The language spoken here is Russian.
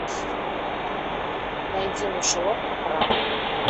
найди мышеловка пра